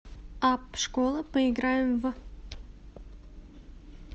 апп школа поиграем в